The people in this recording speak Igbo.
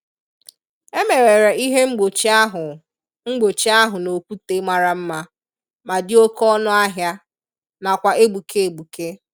E mewere ihe mgbochi ahụ mgbochi ahụ n'okwute mara mma ma dị oke ọnụ ahia, nakwa egbuke egbuke.